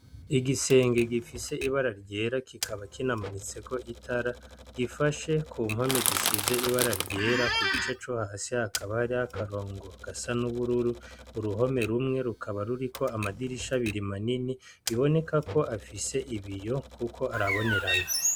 Igisenge gifise ibara ryera kikaba kinamanitseko itara gifashe ku mpome risize ibararyera igice cohasi hakaba hari akarongo gasa nubururu uruhome rumwe rukaba ruriko amadirisha abiri manini biboneka ko afise ibiyo kuko arabonerana